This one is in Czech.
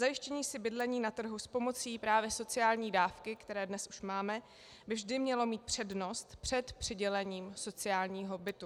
Zajištění si bydlení na trhu s pomocí právě sociálních dávek, které dnes už máme, by vždy mělo mít přednost před přidělením sociálního bytu.